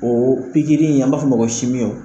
Oo pikiri in an b'a f'ɔ ma ko